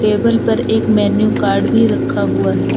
Table पर एक menu card भी रखा हुआ है।